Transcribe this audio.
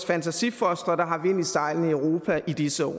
fantasifostre der har vind i sejlene i europa i disse år